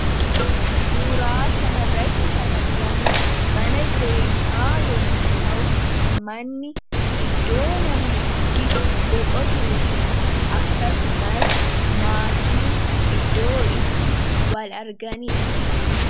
Suuraa kana irratti kan argamu mana jireenyaa yommu ta'u manni iddoo namniitti boqotuu fi akkasumas maatiin iddoo itti wal arganidha.